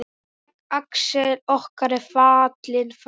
Axel okkar er fallinn frá.